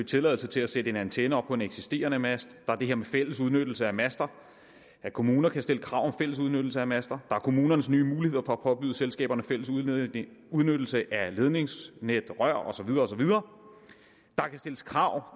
tilladelse til at sætte en antenne op på en eksisterende mast der er det her med fælles udnyttelse af master at kommuner kan stille krav om fælles udnyttelse af master er kommunernes nye mulighed for at påbyde selskaberne fælles udnyttelse udnyttelse af ledningsnet rør og så videre der kan stilles krav